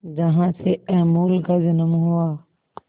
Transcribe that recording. जहां से अमूल का जन्म हुआ